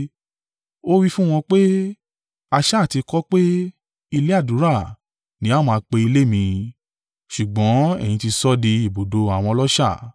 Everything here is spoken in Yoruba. Ó wí fún wọn pé, “A sá à ti kọ ọ́ pé, ‘Ilé àdúrà ni a ó máa pe ilé mi,’ ṣùgbọ́n ẹ̀yin ti sọ ọ́ di ibùdó àwọn ọlọ́ṣà.”